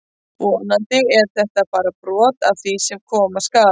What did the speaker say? Vonandi er þetta bara brot af því sem koma skal!